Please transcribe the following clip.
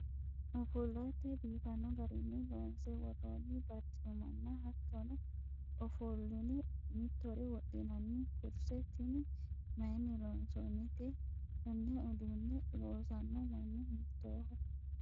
ofollate biifanno garinni loonse worroonni barcimmanna hattono ofollune mitore wodhinanni kurse tini mayiinni loonsoonnite? konne uduunne loosanno manni hiittooho ?